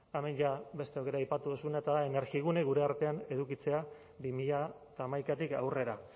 eta hemen beste aukera aipatu duzuna eta energigune gure artean edukitzea bi mila hamaikatik aurrera